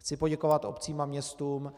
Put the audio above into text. Chci poděkovat obcím a městům,